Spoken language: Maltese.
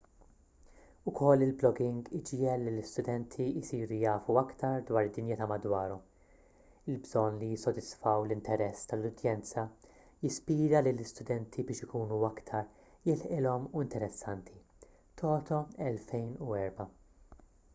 ukoll il-blogging iġiegħel lill-istudenti jsiru jafu aktar dwar id-dinja ta' madwarhom. il-bżonn li jissodisfaw l-interess tal-udjenza jispira lill-istudenti biex ikunu aktar jilħqilhom u interessanti toto 2004